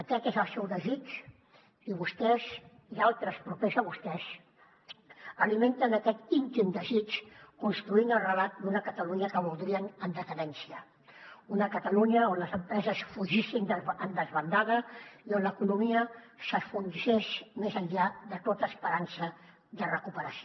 aquest és el seu desig i vostès i altres propers a vostès alimenten aquest íntim desig construint el relat d’una catalunya que voldrien en decadència una catalunya on les empreses fugissin en desbandada i on l’economia s’enfonsés més enllà de tota esperança de recuperació